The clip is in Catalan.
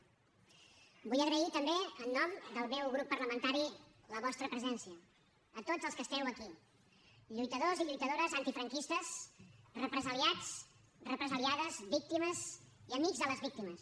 vull agrair també en nom del meu grup parlamentari la vostra presència a tots els que esteu aquí lluitadors i lluitadores antifranquistes represaliats represaliades víctimes i amics de les víctimes